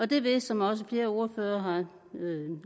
det vil som også flere ordførere har